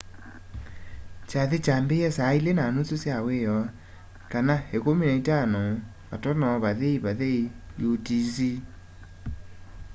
kyathĩ kyaambĩie saa ilĩ na nusu sya wĩoo 15.00 utc